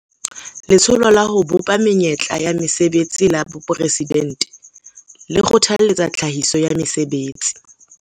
Letsholo la ho Bopa Menyetla ya Mesebetsi la Boporesidente le kgothaletsa tlhahiso ya mesebetsi